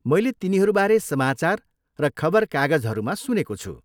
मैले तिनीहरू बारे समाचार र खबरकागजमाहरूमा सुनेको छु।